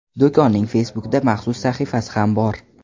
Do‘konning Facebook’da maxsus sahifasi ham bor.